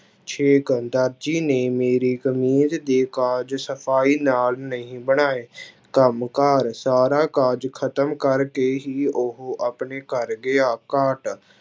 ਛੇਕ ਦਰਜੀ ਨੇ ਮੇਰੀ ਕਮੀਜ਼ ਦੇ ਕਾਜ਼ ਸਫ਼ਾਈ ਨਾਲ ਨਹੀਂ ਬਣਾਏ ਕੰਮ ਕਾਰ ਸਾਰਾ ਕਾਜ਼ ਖ਼ਤਮ ਕਰਕੇ ਹੀ ਉਹ ਆਪਣੇ ਘਰ ਗਿਆ, ਕਾਾਟ